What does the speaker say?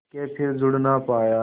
के फिर जुड़ ना पाया